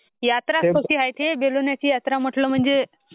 यात्रा is not clear बेलवलीचा यात्रा म्हटल म्हणजे...